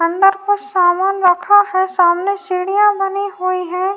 अंदर कुछ सामान रखा है। सामने सीढ़िया बनी हुई हैं।